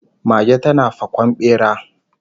Mage tana fakon bera